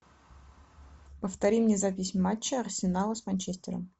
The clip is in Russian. повтори мне запись матча арсенала с манчестером